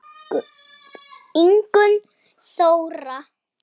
Ingunn Þóra.